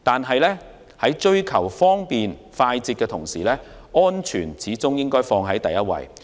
然而，在追求方便快捷的同時，始終應以安全為首要。